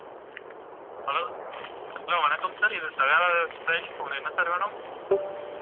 hello hello வணக்கம் sir இது Sahadevan style உங்களுக்கு என்ன sir வேணும்